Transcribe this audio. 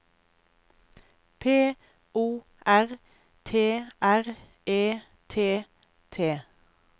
P O R T R E T T